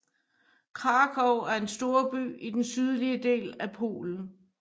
Kraków er en storby i den sydlige del af Polen